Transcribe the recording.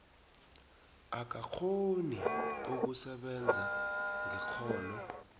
akakghoni ukusebenza ngekghono